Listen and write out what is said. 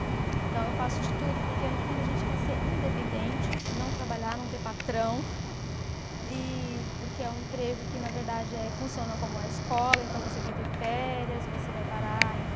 Então, eu faço de tudo, porque no fundo a gente quer ser independente, não trabalhar, não ter patrão, e porque é um emprego que, na verdade eh, funciona como a escola, então você vai ter férias, você vai parar em.